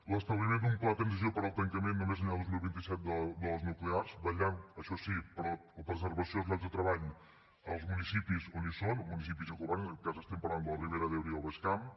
l’establiment d’un pla de transició per al tancament no més enllà del dos mil vint set de les nuclears vetllant això sí per la preservació dels llocs de treball als municipis on són els municipis i governs en aquest cas estem parlant de la ribera d’ebre i el baix camp